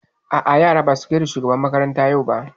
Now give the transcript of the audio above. A'a yaran ba su gaida shugaban makaranta yau ba